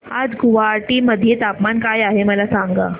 आज गुवाहाटी मध्ये तापमान काय आहे मला सांगा